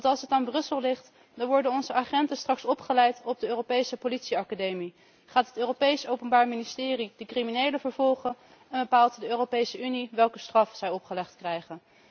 Want als het aan Brussel ligt, dan worden onze agenten straks opgeleid op de Europese Politieacademie, gaat het Europees Openbaar Ministerie de criminelen vervolgen en bepaalt de Europese Unie welke straf zij opgelegd krijgen.